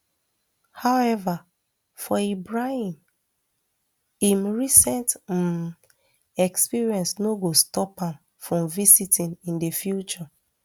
however for ibrahim im recent um experience no go stop am from visiting in di future